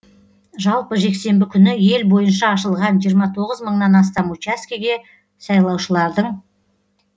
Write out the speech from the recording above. жалпы жексенбі күні ел бойынша ашылған жиырма тоғыз мыңнан астам учаскеге сайлаушылардың